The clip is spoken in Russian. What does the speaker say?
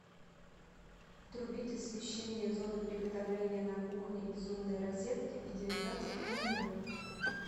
отрубить освещение зоны приготовления на кухне из умной розетки в девятнадцать ноль ноль